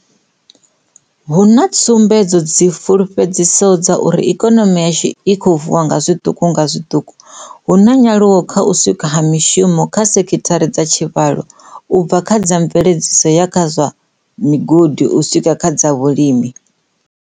Hu na tsumbedzo dzi fulufhe dzisaho dza uri ikonomi yashu i khou vuwa nga zwiṱuku nga zwiṱuku, hu na nyaluwo kha u sikwa ha mishumo kha sekhithara dza tshivhalo, u bva kha dza mve ledziso u ya kha dza zwa migodi u swika kha dza vhulimi.